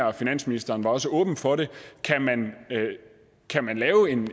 og finansministeren var også åben for det kan man lave en